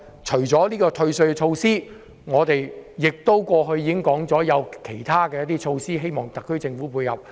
除了今次的退稅措施，我們過去亦提出其他措施，希望特區政府考慮。